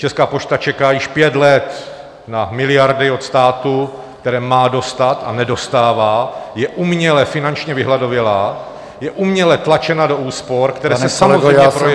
Česká pošta čeká již pět let na miliardy od státu, které má dostat a nedostává, je uměle finančně vyhladovělá, je uměle tlačena do úspor, které se samozřejmě projevuj -